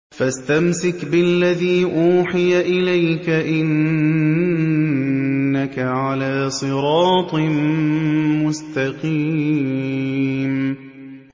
فَاسْتَمْسِكْ بِالَّذِي أُوحِيَ إِلَيْكَ ۖ إِنَّكَ عَلَىٰ صِرَاطٍ مُّسْتَقِيمٍ